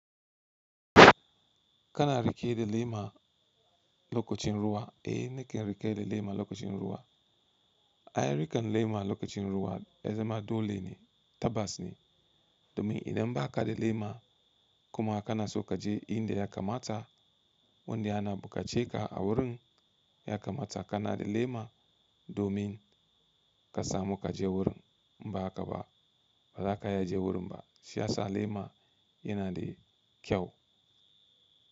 Kana rike da lema lokacin ruwa, eh nake rike da lema lokacin ruwa. Ai rike lema lokacin ruwa, yazama dole ne, tabas ne. Domin idan ba ka da lema kuma kana so ka je inda ya kamata wanda ana buƙace ka a wurin ya kamata kana da lema domin ka samu ka je wurin. Ba haka ba, ba haka ya je wurin ba. Shiyasa lema yana da kyau.